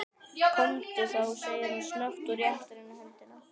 Komdu þá, segir hann snöggt og réttir henni höndina.